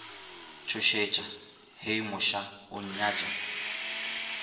tšhošetša hei mošaa o nnyatša